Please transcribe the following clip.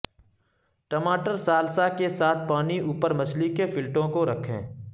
ٹماٹر سالسا کے ساتھ پانی اوپر مچھلی کے فلٹوں کو رکھیں